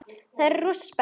Þau eru rosa spennt.